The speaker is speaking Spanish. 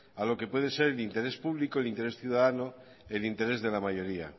a lo que puede ser el interés público el interés ciudadano el interés de la mayoría